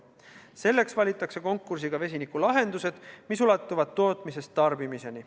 Selleks valitakse konkursiga välja vesinikulahendused, mis ulatuvad tootmisest tarbimiseni.